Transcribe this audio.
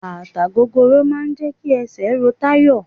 Bàtà gogoro máà ń jẹ́ kí esè ro Tayo.